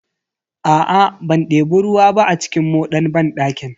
Aa ban debi ruwa ba a cikin moɗan banɗakin.